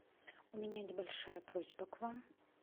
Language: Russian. у меня небольшая просьба к вам